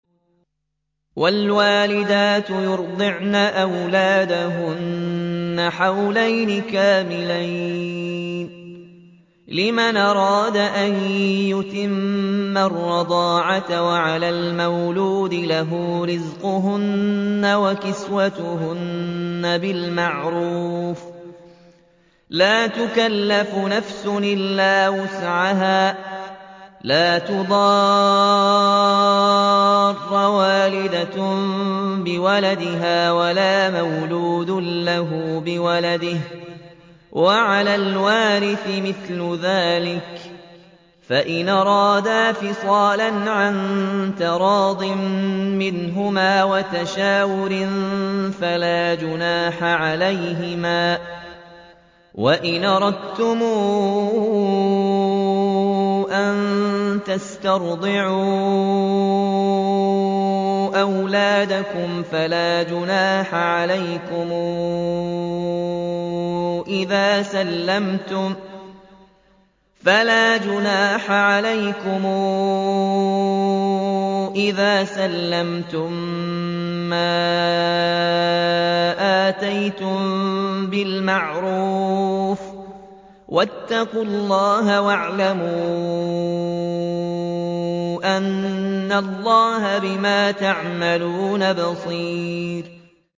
۞ وَالْوَالِدَاتُ يُرْضِعْنَ أَوْلَادَهُنَّ حَوْلَيْنِ كَامِلَيْنِ ۖ لِمَنْ أَرَادَ أَن يُتِمَّ الرَّضَاعَةَ ۚ وَعَلَى الْمَوْلُودِ لَهُ رِزْقُهُنَّ وَكِسْوَتُهُنَّ بِالْمَعْرُوفِ ۚ لَا تُكَلَّفُ نَفْسٌ إِلَّا وُسْعَهَا ۚ لَا تُضَارَّ وَالِدَةٌ بِوَلَدِهَا وَلَا مَوْلُودٌ لَّهُ بِوَلَدِهِ ۚ وَعَلَى الْوَارِثِ مِثْلُ ذَٰلِكَ ۗ فَإِنْ أَرَادَا فِصَالًا عَن تَرَاضٍ مِّنْهُمَا وَتَشَاوُرٍ فَلَا جُنَاحَ عَلَيْهِمَا ۗ وَإِنْ أَرَدتُّمْ أَن تَسْتَرْضِعُوا أَوْلَادَكُمْ فَلَا جُنَاحَ عَلَيْكُمْ إِذَا سَلَّمْتُم مَّا آتَيْتُم بِالْمَعْرُوفِ ۗ وَاتَّقُوا اللَّهَ وَاعْلَمُوا أَنَّ اللَّهَ بِمَا تَعْمَلُونَ بَصِيرٌ